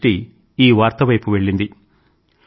నా దృష్టి ఈ వార్త వైపు వెళ్ళింది